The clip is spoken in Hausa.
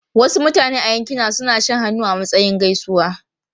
Wasu mutane a yankina suna shan hannu a matsayin gaisuwa.